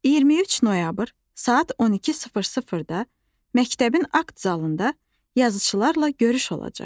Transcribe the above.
23 noyabr, saat 12:00-da məktəbin akt zalında yazıçılarla görüş olacaq.